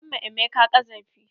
An ma emeka ƙazafi.